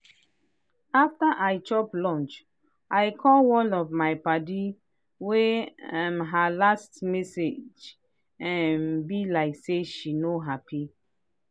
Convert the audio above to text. after i chop lunch i call one of my padi wey um her last message um be like say she no happy.